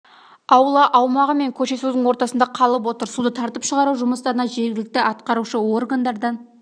аула аумағы мен көше судың ортасында қалып отыр суды тартып шығару жұмыстарына жергілікті атқарушы органдардан